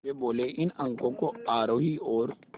वे बोले इन अंकों को आरोही और